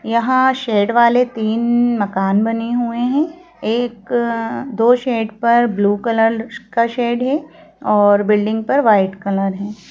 यहां शेड वाले तीन मकान बने हुए हैं एक दो शेड पर ब्लू कलर का शेड है और बिल्डिंग पर वाइट कलर है।